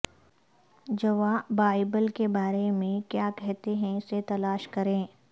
جوا بائبل کے بارے میں کیا کہتے ہیں اسے تلاش کریں